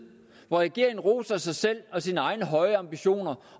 hvor regeringen roser sig selv og sine egne høje ambitioner